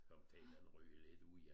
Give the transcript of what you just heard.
Komme til at ryge lidt ud i